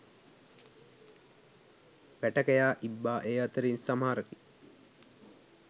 වැටකෙයා ඉබ්බා ඒ අතරින් සමහරකි.